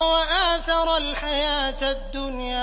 وَآثَرَ الْحَيَاةَ الدُّنْيَا